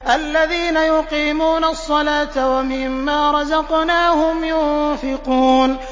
الَّذِينَ يُقِيمُونَ الصَّلَاةَ وَمِمَّا رَزَقْنَاهُمْ يُنفِقُونَ